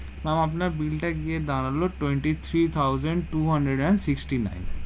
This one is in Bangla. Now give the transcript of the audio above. Ma'am আপনার bill তা গিয়ে দাঁড়ালো, twenty-three thousand two hundred and sixty-nine.